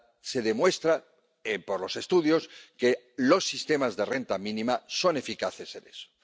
Se demuestra, por los estudios, que los sistemas de renta mínima son eficaces en eso.